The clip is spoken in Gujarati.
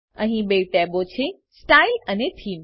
અહીં બે ટેબો છે સ્ટાઇલ અને થેમે